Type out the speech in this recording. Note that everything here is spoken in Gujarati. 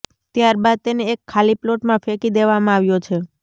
ત્યાર બાદ તેને એક ખાલી પ્લોટમાં ફેંકી દેવામાં આવ્યો છે